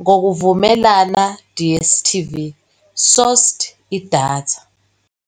ngokuvumelana DStv -sourced idatha.